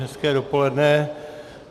Hezké dopoledne.